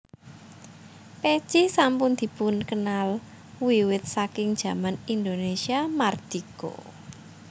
Pèci sampun dipunkenal wiwit saking jaman Indonesia Mardika